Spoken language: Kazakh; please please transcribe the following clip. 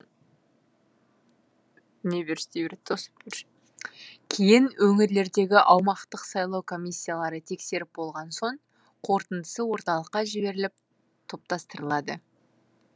кейін өңірлердегі аумақтық сайлау комиссиялары тексеріп болған соң қорытындысы орталыққа жіберіліп топтастырылады